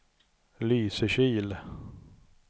Lysekil